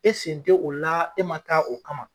E sen tɛ o la e ma taa o kama.